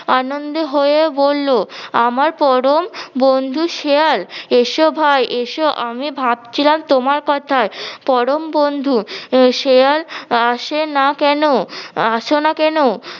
আনন্দে হয়ে বললো আমার পরম বন্ধু শেয়াল এসো ভাই এসো, আমি ভাবছিলাম তোমার কথা, পরম বন্ধু শেয়াল আসে না কেন আসো না কেন